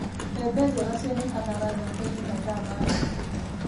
Mbembe njega cionekanaga thoko-inĩ mathaa ma rũcinĩ.